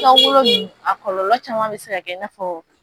ninnu a kɔlɔlɔ caman bɛ se ka i n'a fɔ